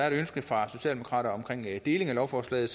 et ønske fra socialdemokraterne om deling af lovforslaget